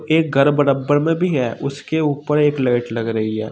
एक घर बराबर में भी है उसके ऊपर एक लाइट लग रही है।